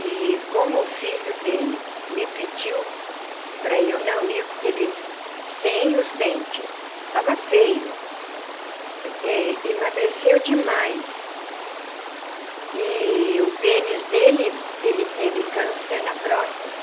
E como o filho dele me pediu para eu não ir porque ele... sem os dentes... estava feio eh... emagreceu demais... eee o pênis dele... ele teve câncer na próstata.